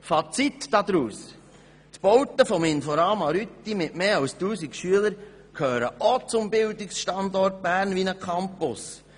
Fazit: Die Bauten des INFORAMA Rütti mit mehr als 1000 Schülern gehören auch zum Bildungsstandort Bern wie ein Campus.